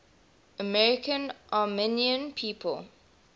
american armenian people